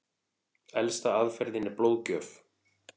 Elsta aðferðin er blóðgjöf.